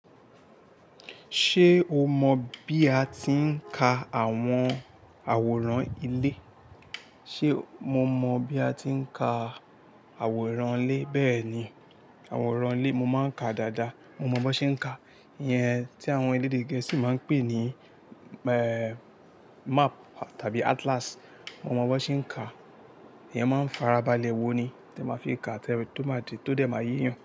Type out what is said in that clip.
Ṣé o mọ bí a ti ń ka àwọn àwòrán ilé? Ṣé mo mọ bí a ti ń ka àwòrán ilé? Bẹ́ẹ̀ni, àwòrán ilé mo máa ń ka dáadáa. Mo mọ bó ṣe ń ka. Iyẹn tí àwọn elédè Gẹ̀ẹ́sì máa ń pè ní map tàbí atlas. Mo mọ bó ṣe ń ka. Ìyẹn máa ń farabalẹ̀ wo ni tí ẹ máa fi ń ka tó má de, tó dẹ̀ má eeyan.